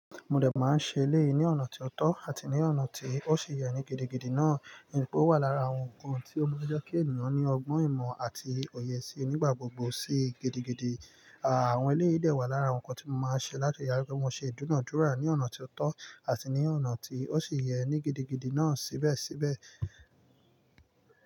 Mo dẹ̀ máa ń ṣe eléyìí ní ọ̀nà ti ó tọ́ àti ní ọ̀nà tí ó ṣi yẹ ní gidigidi náà, nítorí pé ó wà lára àwọn nǹkan tí ó n jẹ́ kí ènìyàn ní ọgbọ́n ìmọ̀ àti òye sí i nígbà gbogbo. Sí gidigidi, àwọn eléyìí de wà lára nǹkan tí mo máa ń ṣe láti ri daju pe mo ṣe dúnàádúrà ní ọ̀nà ti o tọ́ àti ní ọ̀nà tí ó ṣi yẹ ní gidigidi náà síbẹ̀síbẹ̀